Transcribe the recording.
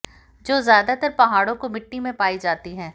जो ज्यादातर पहाड़ों को मिट्टी में पाई जाती हैं